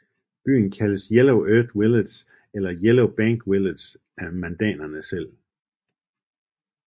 Byen kaldes Yellow Earth Village eller Yellow Bank Village af mandanerne selv